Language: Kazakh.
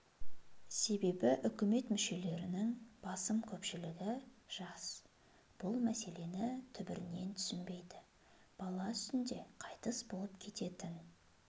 себебі үкімет мүшелерінің басым көпшілігі жас бүл мәселені түбірінен түсінбейді бала үстінде қайтыс болып кететін